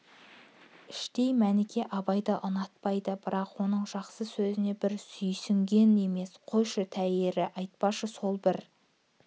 іштей мәніке абайды ұнатпайды бірақ оның жақсы сөзіне бір сүйсінген емес қойшы төйірі айтпашы сол бір